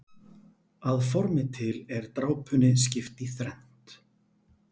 Að formi til er drápunni skipt í þrennt.